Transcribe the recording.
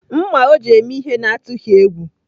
Mma o ji eme ihe n’atụghị egwu.